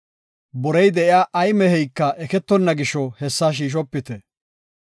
Borey de7iya ay meheyka eketonna gisho hessa shiishopite.